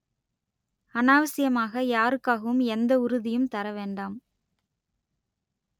அநாவசியமாக யாருக்காகவும் எந்த உறுதியும் தர வேண்டாம்